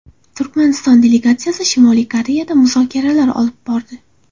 Turkmaniston delegatsiyasi Shimoliy Koreyada muzokaralar olib bordi.